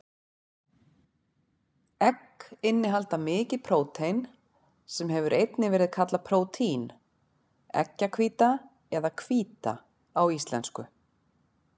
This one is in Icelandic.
Egg innihalda mikið prótein, sem hefur einnig verið kallað prótín, eggjahvíta eða hvíta á íslensku.